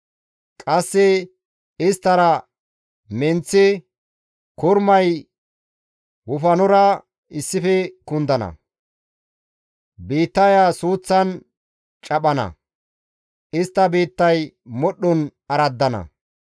Qasse Isttara menththi, kormay wofanora issife kundana; biittaya suuththan caphana; istta biittay modhdhon araddana.